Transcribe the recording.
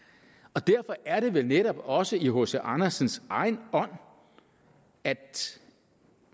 derfor er det vel netop også i hc andersens egen ånd at